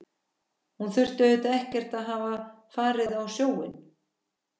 Hann þurfti auðvitað ekkert að hafa farið á sjóinn.